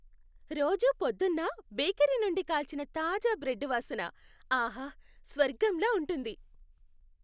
రోజూ పొద్దున్న బేకరీ నుండి కాల్చిన తాజా బ్రెడ్డు వాసన ఆహా! స్వర్గంలా ఉంటుంది.